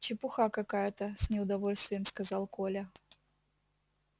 чепуха какая-то с неудовольствием сказал коля